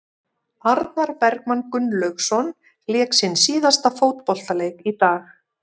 Arnar Bergmann Gunnlaugsson lék sinn síðasta fótboltaleik í dag.